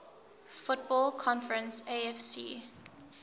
football conference afc